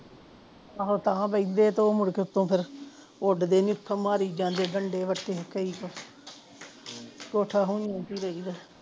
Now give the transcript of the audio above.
ਆਹੋ ਤਾ ਬਈ ਦੇਖਦੇ ਆ ਤਾਂ ਮੁੜਕੇ ਉਤੋਹ ਫਿਰ ਉੱਡਦੇ ਨਹੀਂ ਓਥੋਂ ਮਾਰੀ ਜਾਂਦੇ ਡੰਡੇ ਵਟੇ ਤੇ ਕਈ ਤੋਹ ਕੋਠਾ ਹੁਜਨ ਚ ਰਹਿਦਾ